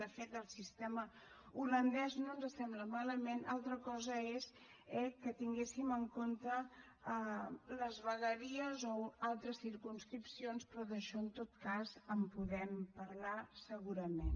de fet el sistema holandès no ens sembla malament altra cosa és eh que tinguéssim en compte les vegueries o altres circumscripcions però d’això en tot cas en podem parlar segurament